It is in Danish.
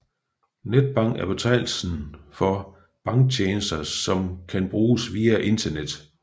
Netbank er betegnelsen for banktjenester som kan bruges via internet